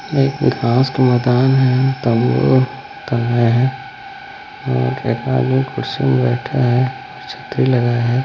--मे एक घास का मैदान हैं तम्बू टंगे हैं और एक आदमी कुर्सी पर बैठा है छतरी लगा है।